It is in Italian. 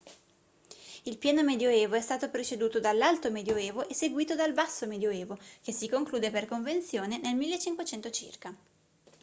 il pieno medioevo è stato preceduto dall'alto medioevo e seguito dal basso medioevo che si conclude per convenzione nel 1500 circa